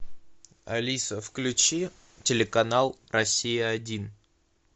алиса включи телеканал россия один